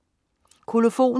Kolofon